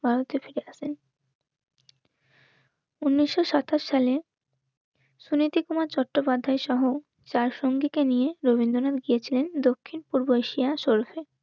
ও বিশাল ভ্রমণ করে ভারতে ফিরে আসেন. উনিশশো সাতাশ সালে সুনীতি কুমার চট্টোপাধ্যায় সহ চার সঙ্গীকে নিয়ে রবীন্দ্রনাথ গিয়েছিলেন দক্ষিণ পূর্ব এশিয়া সোলভে